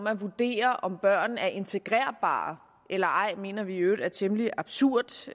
at vurdere om børn er integrerbare eller ej mener vi i øvrigt er temmelig absurd